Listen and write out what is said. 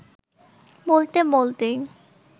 বলতে বলতেই